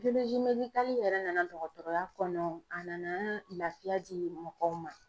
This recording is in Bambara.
yɛrɛ nana dɔgɔtɔrɔya kɔnɔ a nana laafiya di mɔgɔw ma.